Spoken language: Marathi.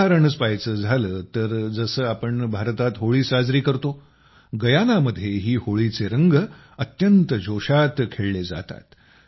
उदाहरण पहायचं तर जसे आम्ही भारतात होळी साजरी करतो गयानामध्येही होळीचे रंग अत्यंत जोशात खेळले जातात